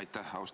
Aitäh!